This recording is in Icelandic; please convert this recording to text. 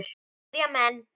spyrja menn.